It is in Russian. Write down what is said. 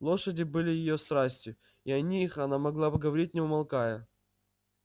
лошади были её страстью и о них она могла говорить не умолкая